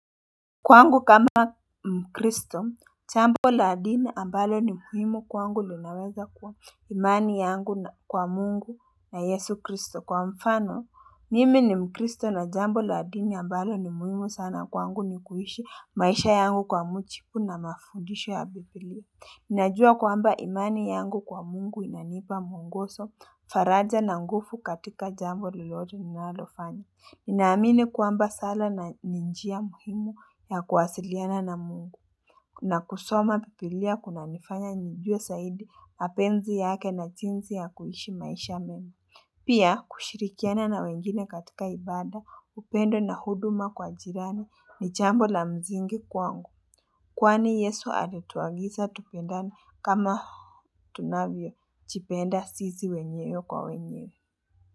Kwangu kama mkristo, jambo la dini ambalo ni muhimu kwangu linaweza kuwa imani yangu kwa mungu na yesu kristo. Kwa mfano, mimi ni mkristo na jambo la dini ambalo ni muhimu sana kwangu ni kuishi maisha yangu kwa mujibu na mafundisho ya Bibilia. Ninajua kwamba imani yangu kwa Mungu inanipa muongozo, faraja na nguvu katika jambo lolote ninalofanya. Ninaamini kwamba sala ni njia muhimu ya kuwasiliana na mungu. Na kusoma bibilia kunanifanya nijue zaidi mapenzi yake na jinzi ya kuishi maisha mema. Pia kushirikiana na wengine katika ibada upendo na huduma kwa jirani ni jambo la msingi kwangu. Kwani yesu alituagiza tupendane kama tunavyo jipenda sisi wenyewe kwa wenyewe.